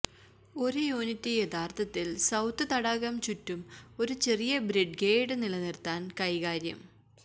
ഒരു യൂണിറ്റ് യഥാർത്ഥത്തിൽ സര്രൌത് തടാകം ചുറ്റും ഒരു ചെറിയ ബ്രിദ്ഗെഹെഅദ് നിലനിർത്താൻ കൈകാര്യം